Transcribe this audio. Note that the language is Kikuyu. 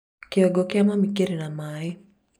kĩongo kĩa mami kĩrĩ na maĩ